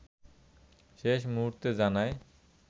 শেষ মূহুর্তে জানায়